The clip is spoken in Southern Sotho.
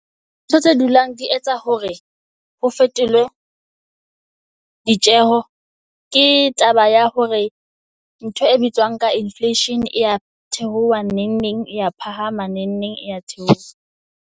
Ntho tse dulang di etsa hore ho fetolwe di tjeho. Ke taba ya hore ntho e bitswang ka inflation ya theoha neng neng e ya phahama, neng neng e ya theoha.